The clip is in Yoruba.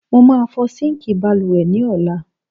Mo máa fọ síǹkì balùwẹ̀ ní ọ̀la.